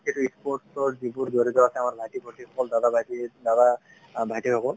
sports ৰ যিবোৰ যৰিত আছে আমাৰ ভাইটি ভন্তি সকল দাদা ভাইটী সকল